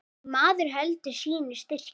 Nei, maður heldur sínu striki.